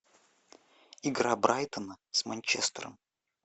игра брайтона с манчестером